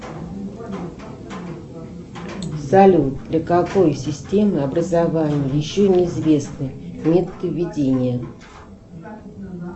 салют для какой системы образование еще неизвестны методы ведения